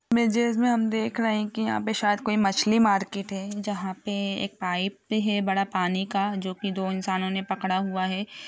Images में हम देख रहे हैं की यहाँ पे शायद कोई मछली मार्केट है जहाँ पे एक पाइप है बड़ा पानी का जो की दो इंसानो ने पकड़ा हुआ है।